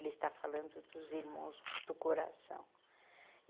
Ele está falando dos irmãos do coração.